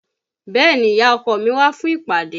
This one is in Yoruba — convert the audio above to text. Bẹ́ẹ̀ni, ìyá ọkọ mi wá fún ìpàdé